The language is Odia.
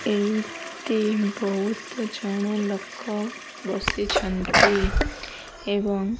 ଏଇଠି ବହୁତ ଜଣ ଲୋକ ବସିଛନ୍ତି ଏବଂ --